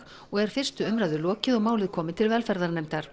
og er fyrstu umræðu lokið og málið komið til velferðarnefndar